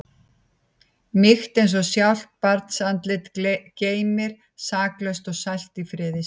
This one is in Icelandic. Mýkt eins og sjálft barnsandlitið geymir, saklaust og sælt í friði sínum.